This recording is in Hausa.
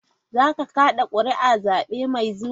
Za ka kada kuri'a a zabe mai zuwa?